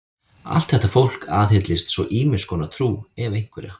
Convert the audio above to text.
Allt þetta fólk aðhyllist svo ýmiss konar trú, ef einhverja.